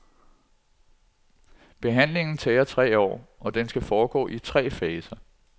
Behandlingen tager tre år, og den skal foregå i tre faser.